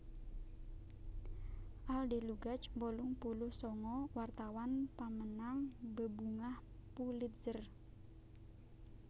Al Delugach wolung puluh sanga wartawan pamenang Bebungah Pulitzer